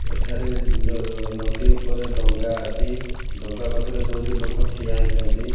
ଏଠାରେ ନ ନଦୀ ଉପରେ ଡଙ୍ଗା ଅଛି। ଡଙ୍ଗା ପାଖରେ ଦୁଇଟି ଲୋକ ଠିଆ ହେଇଛନ୍ତି।